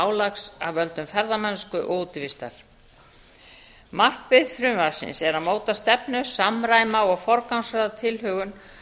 álags af völdum ferðamennsku og útivistar markmið frumvarpsins er að móta stefnu samræma og forgangsraða tilhögun